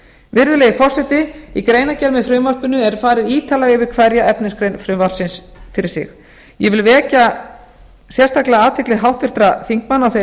virðulegi forseti í greinargerð með frumvarpinu er farið ítarlega yfir hverja efnisgrein frumvarpsins fyrir sig ég vil vekja sérstaklega athygli háttvirtra þingmanna á þeirri